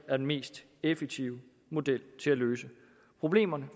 er den mest effektive model til at løse problemerne